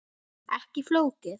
Ekki flókið.